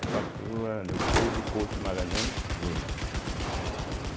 Aí passou a Leopoldo Couto de Magalhães Júnior, né e.